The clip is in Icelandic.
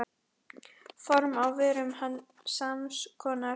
Form á vörum sams konar.